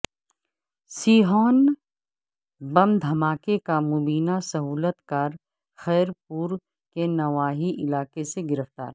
سیہون بم دھاکے کا مبینہ سہولت کار خیرپور کے نواحی علاقے سے گرفتار